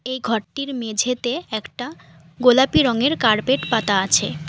এই ঘরটির মেঝেতে একটা গোলাপি রঙের কার্পেট পাতা আছে।